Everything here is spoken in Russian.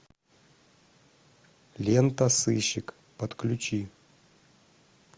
лента сыщик подключи